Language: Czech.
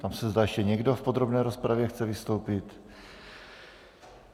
Ptám se, zda ještě někdo v podrobné rozpravě chce vystoupit.